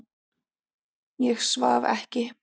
Ég svaf ekki.